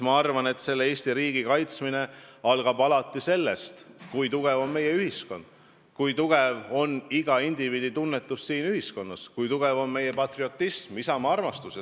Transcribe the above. Ma arvan, et Eesti riigi kaitsmine algab sellest, kui tugev on meie ühiskond, kui tugev on iga indiviidi tunnetus siin ühiskonnas, kui tugev on meie patriotism, isamaa-armastus.